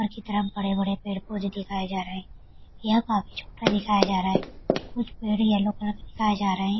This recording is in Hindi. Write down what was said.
ऊपर की तरफ बड़े-बड़े पेड़-पौधे दिखाए जा रहे है यह काफी छोटा दिखाया जा रहा हैं कुछ पेड़ येलो कलर के दिखाए जा रहे है।